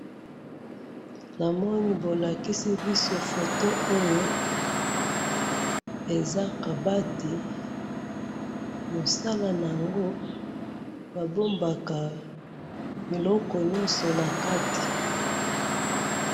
namoni bolakisi biso photo oyo eza kabati mosala nango bandumbaka biloko nyoso na kati